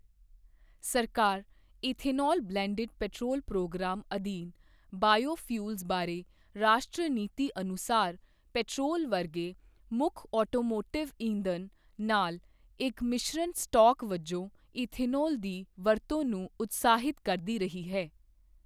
ਸਰਕਾਰ ethanol blended petrol programme ਅਧੀਨ biofuels ਬਾਰੇ ਰਾਸ਼ਟਰੀ ਨੀਤੀ ਅਨੁਸਾਰ ਪੈਟਰੋਲ ਵਰਗੇ ਮੁੱਖ ਆਟੋਮੋਟਿਵ ਈਂਧਨ ਨਾਲ ਇੱਕ ਮਿਸ਼ਰਣ ਸਟਾੱਕ ਵਜੋਂ ਈਥਾਨੌਲ ਦੀ ਵਰਤੋਂ ਨੂੰ ਉਤਸ਼ਾਹਿਤ ਕਰਦੀ ਰਹੀ ਹੈ।